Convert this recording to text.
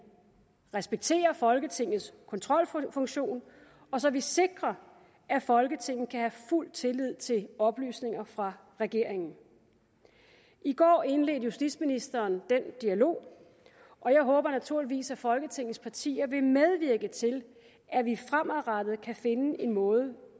respekterer folketingets kontrolfunktion og så vi sikrer at folketinget kan have fuld tillid til oplysninger fra regeringen i går indledte justitsministeren den dialog og jeg håber naturligvis at folketingets partier vil medvirke til at vi fremadrettet kan finde en måde